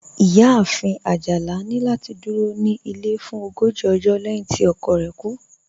Iyáàfin Ajálà ni lati dúró ní ilẹ̀ fún ògójì ọ̀jọ́ lẹ̀hin tí ọkọ̀ rẹ̀ kú